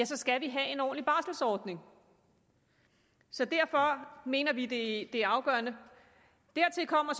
så skal vi have en ordentlig barselordning så derfor mener vi det er afgørende dertil kommer